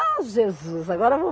Ah Jesus, agora eu vou